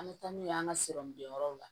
An bɛ taa n'u ye an ka bila yɔrɔw la